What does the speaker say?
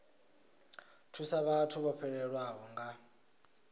thusa vhathu vho fhelelwaho nga